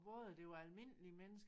Både det var almindelige mennesker